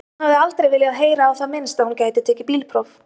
Hún hafði aldrei viljað heyra á það minnst að hún gæti tekið bílpróf.